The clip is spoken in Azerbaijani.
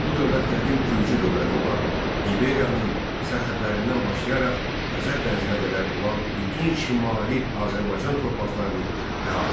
Bu dövlət qədim gürcü dövləti olan İberyanın sərhədlərindən başlayaraq Xəzər dənizinə qədər olan bütün şimali Azərbaycan torpaqlarını əhatə edirdi.